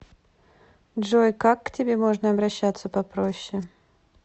джой как к тебе можно обращаться попроще